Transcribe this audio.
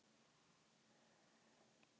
Breiðuvík